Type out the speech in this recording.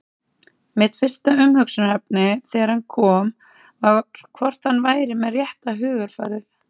Mitt fyrsta umhugsunarefni þegar hann kom var hvort hann væri með rétta hugarfarið?